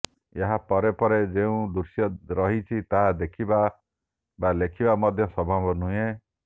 ଏହା ପରେ ପରେ ଯେଉଁ ଦୃଶ୍ୟ ରହିଛି ତାହା ଦେଖିବା ବା ଲେଖିବା ମଧ୍ୟ ସମ୍ଭବ ନୁହେଁ